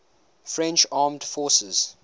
french armed forces